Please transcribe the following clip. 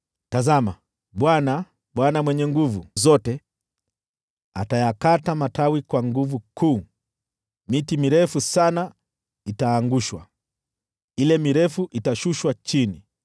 Tazama, Bwana, Bwana Mwenye Nguvu Zote, atayakata matawi kwa nguvu kuu. Miti mirefu sana itaangushwa, ile mirefu itashushwa chini.